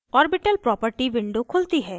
orbital property window खुलती है